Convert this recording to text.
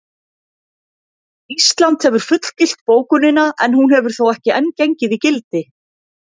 Ísland hefur fullgilt bókunina en hún hefur þó ekki enn gengið í gildi.